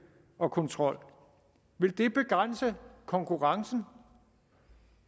og kontrol vil det begrænse konkurrencen